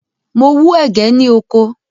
Mo wú ẹ̀gẹ́ ní oko.